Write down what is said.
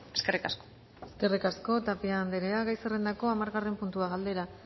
eskerrik asko eskerrik asko tapia andrea gai zerrendako hamargarren puntua galdera